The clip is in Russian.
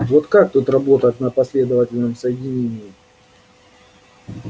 вот как тут работать на последовательном соединении